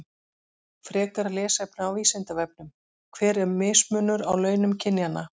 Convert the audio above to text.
Frekara lesefni á Vísindavefnum: Hver er mismunur á launum kynjanna?